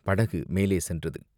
படகு மேலே சென்றது.